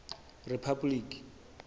rephapoliki